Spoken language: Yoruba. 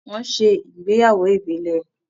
Wọ́n ṣe ìgbéyàwó ìbílẹ̀.